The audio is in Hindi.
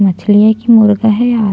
मछली है की मुर्गा है यार--